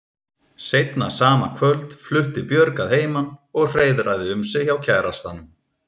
Seinna sama kvöld flutti Björg að heiman og hreiðraði um sig hjá kærastanum.